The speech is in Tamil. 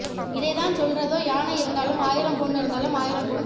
இதை தான் சொல்லுறதோ யானை இருந்தாலும் ஆயிரம் பொன் இறந்தாலும் ஆயிரம் பொன்